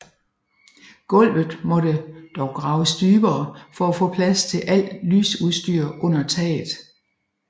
Gulvet måtte dog graves dybere for at få plads til al lysudstyr under taget